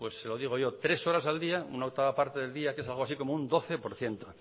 pues se lo digo yo tres horas al día una octava parte del día que es algo así como un doce por ciento